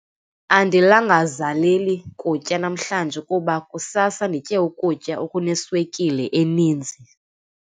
Andilangazaleli kutya namhlanje kuba kusasa nditye ukutya okuneswekile eninzi.